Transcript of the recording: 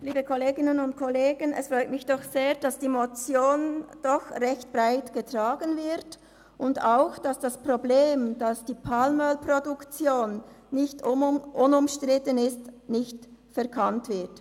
Es freut mich doch sehr, dass die Motion relativ breit getragen wird und auch, dass das Problem der nicht unumstrittenen Produktion von Palmöl nicht verkannt wird.